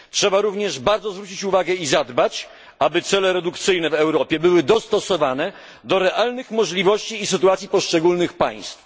Trzeba również bardzo zwrócić uwagę i zadbać, aby cele redukcyjne w Europie były dostosowane do realnych możliwości i sytuacji poszczególnych państw.